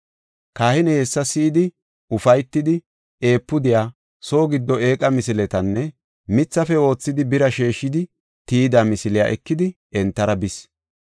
Kahiney hessa si7idi ufaytidi efuudiya, soo giddo eeqa misiletanne mithafe oothidi bira sheeshidi tiyida misiliya ekidi entara bis.